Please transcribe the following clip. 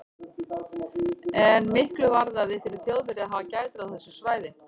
En miklu varðaði fyrir Þjóðverja að hafa gætur á þessu svæði.